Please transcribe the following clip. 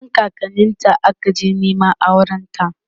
wurin kakanninta ta akaje Neman aurenta